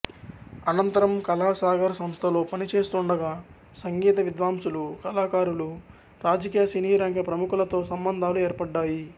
అనంతరం కళాసాగర్ సంస్థలో పని చేస్తుండగా సంగీత విద్వాంసులు కళాకారులు రాజకీయ సినీరంగ ప్రముఖులతో సంబంధాలు ఏర్పడ్డాయి